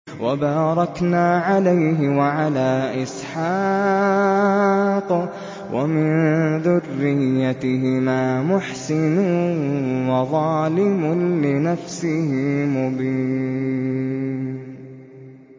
وَبَارَكْنَا عَلَيْهِ وَعَلَىٰ إِسْحَاقَ ۚ وَمِن ذُرِّيَّتِهِمَا مُحْسِنٌ وَظَالِمٌ لِّنَفْسِهِ مُبِينٌ